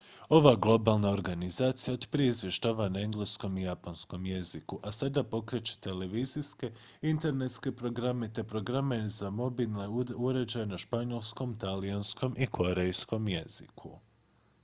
ova globalna organizacija otprije izvještava na engleskom i japanskom jeziku a sada pokreće televizijske internetske programe te programe za mobilne uređaje na španjolskom talijanskom i korejskom jeziku